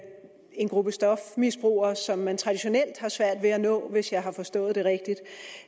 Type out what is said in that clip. en gruppe stofmisbrugere som man traditionelt har svært ved at nå hvis jeg har forstået det rigtigt